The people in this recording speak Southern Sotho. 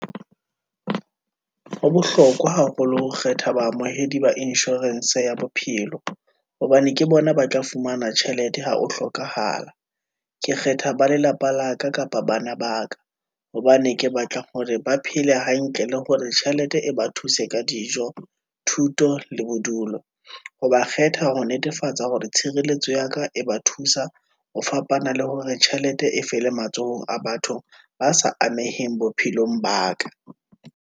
Ho bohlokwa haholo ho kgetha baamohedi ba insurance ya bophelo, hobane ke bona ba tla fumana tjhelete ha ho hlokahala. Ke kgetha ba lelapa la ka, kapa bana ba ka, hobane ke batla hore ba phele hantle, Le hore tjhelete e ba thuse ka dijo, thuto, le bodulo. Ha ba kgetha ho netefatsa hore tshireletso ya ka, e ba thusa ho fapana le hore tjhelete e fele matsohong a batho ba sa ameheng bophelong ba ka.